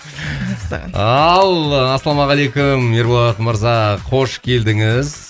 ал ассалаумағалейкум ерболат мырза қош келдіңіз